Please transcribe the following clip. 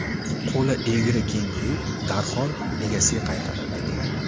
Qo‘li egri kenguru darhol egasiga qaytarildi.